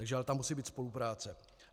Takže ale tam musí být spolupráce.